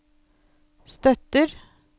støtter